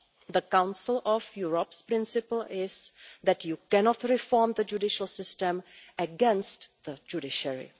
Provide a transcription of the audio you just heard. The Council of Europe's principle is that you cannot reform the judicial system against the judiciary.